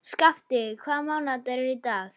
Skafti, hvaða mánaðardagur er í dag?